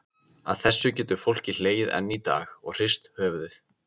Að þessu getur fólkið hlegið enn í dag og hrist höfuðið.